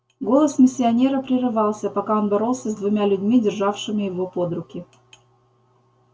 голос миссионера прерывался пока он боролся с двумя людьми державшими его под руки